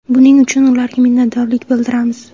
Buning uchun ularga minnatdorlik bildiramiz.